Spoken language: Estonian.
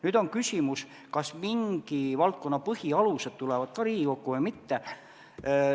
Nüüd on küsimus, kas mingi valdkonna põhialused tulevad ka Riigikokku või mitte.